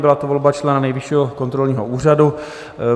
Byla to volba člena Nejvyššího kontrolního úřadu.